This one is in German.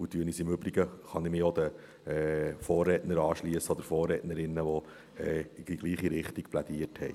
Im Übrigen kann ich mich auch den Vorrednern oder Vorrednerinnen anschliessen, die in die gleiche Richtung plädiert haben.